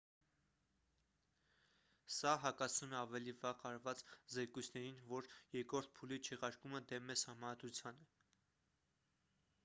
սա հակասում է ավելի վաղ արված զեկույցներին որ երկրորդ փուլի չեղարկումը դեմ է սահմանադրությանը